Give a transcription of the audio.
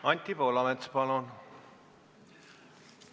Anti Poolamets, palun!